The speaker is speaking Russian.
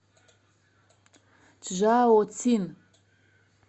чжаоцин